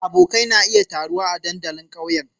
Abokai na iya taruwa a dandalin ƙauyen.